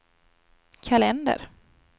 kalender